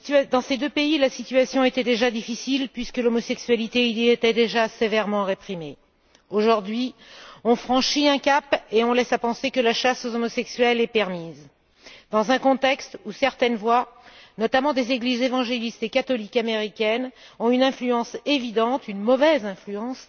Dans ces deux pays, la situation était difficile puisque l'homosexualité y était déjà sévèrement réprimée. Aujourd'hui, ils ont franchi un cap laissant à penser que la chasse aux homosexuels est permise, dans un contexte où certaines voix, notamment des églises évangélistes et catholiques américaines, ont une influence évidente, une mauvaise influence